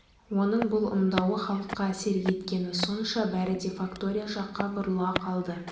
оның бұл ымдауы халыққа әсер еткені сонша бәрі де фактория жаққа бұрыла қалды